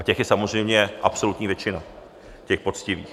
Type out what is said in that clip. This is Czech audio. A těch je samozřejmě absolutní většina, těch poctivých.